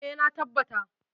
Eh, na tabbata.